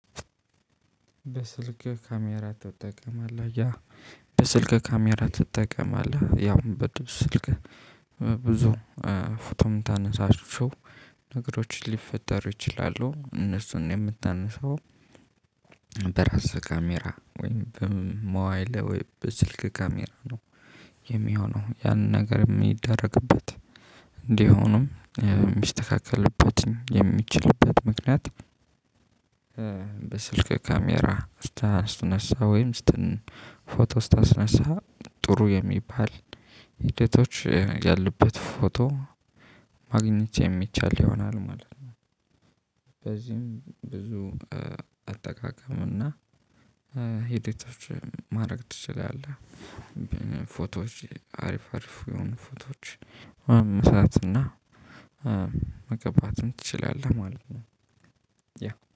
በስልክ ካሜራ ትጠቀማለህ? ያ በስልክ ካሜራ ትጠቀማለህ? ያው ስልክ ብዙ ፎቶም የምታነሳቸው ነገሮችን ሊፈጠሩ ይችላሉ። እነሱን የምታነሳው በራስህ ካሜራ ወይም በመዋይለ ላይ ወይ በስልክ ካሜራ ነው የሚሆነው ያ ነገር የሚደረግበት እንዲሆኑም የሚስተካከለበትን የሚችልበት ምክንያት። በስልክ ካሜራ ስትነሳ ወይም ስትን ፎቶ ስታስነሳ ጥሩ የሚባል ሂደቶች ያለበት ፎቶ ማግኘት የሚቻል ይሆናል ማለት ነው። በዚህም ብዙ አጠቃቀሙና ሂደቶች ማድረግ ትችላለህ። ፎቶዎች አሪፍ አሪፍ የሆኑ ፎቶዎች መስራት እና መገባትም ትችላለህ ማለት ነው።